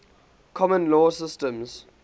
common law systems